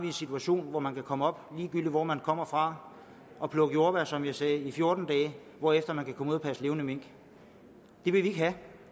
en situation hvor man kan komme op ligegyldigt hvor man kommer fra og plukke jordbær som jeg sagde i fjorten dage hvorefter man kan komme ud og passe levende mink det vil vi ikke have